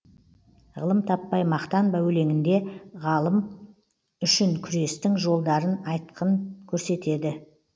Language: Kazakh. ғылым таппай мақтанба өлеңінде ғалым үшін күрестің жолдарын айтқын көрсетеді